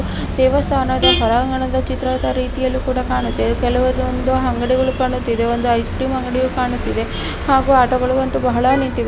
ದೇವಸ್ಥಾನದ ಒರಂಗಣದ ಚಿತ್ರದ ರೀತಿಯಲ್ಲು ಕೂಡ ಕಾಣುತ್ತೆ ಕೆಲವೊಂದು ಅಂಗಡಿಗಳು ಕಾಣುತ್ತಿದೆ ಒಂದು ಐಸ್ ಕ್ರೀಮ್ ಅಂಗಡಿಯೋ ಕಾಣುತ್ತಿದೆ ಹಾಗೂ ಆಟಗಳಂತು ಬಹಳ ನಿಂತಿವೆ.